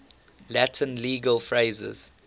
latin legal phrases